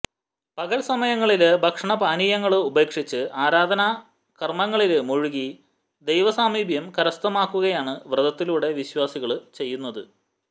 പകല്സമയങ്ങളില് ഭക്ഷണപാനീയങ്ങള് ഉപേക്ഷിച്ച് ആരാധനാ കര്മങ്ങളില് മുഴുകി ദൈവസാമീപ്യം കരസ്ഥമാക്കുകയാണ് വ്രതത്തിലൂടെ വിശ്വാസികള് ചെയ്യുന്നത്